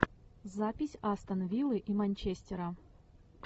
запись астон виллы и манчестера